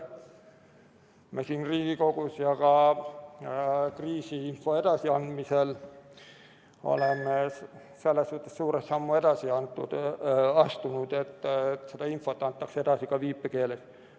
Me siin Riigikogus ja ka kriisiinfo edasiandmisel oleme selles suhtes suure sammu edasi astunud, et seda infot antakse edasi ka viipekeeles.